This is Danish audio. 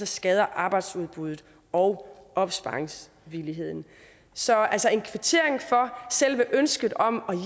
skader arbejdsudbuddet og opsparingsvilligheden så altså en kvittering for selve ønsket om at